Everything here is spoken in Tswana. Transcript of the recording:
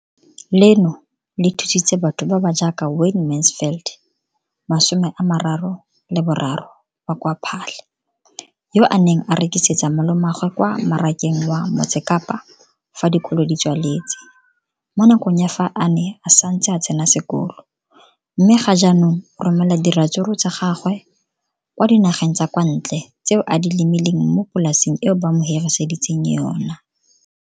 Leno le thusitse batho ba ba jaaka Wayne Mansfield, 33, wa kwa Paarl, yo a neng a rekisetsa malomagwe kwa Marakeng wa Motsekapa fa dikolo di tswaletse, mo nakong ya fa a ne a santse a tsena sekolo, mme ga jaanong o romela diratsuru tsa gagwe kwa dinageng tsa kwa ntle tseo a di lemileng mo polaseng eo ba mo hiriseditseng yona.